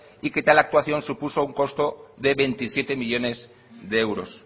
y que tal actuación supuso un costo de veintisiete millónes de euros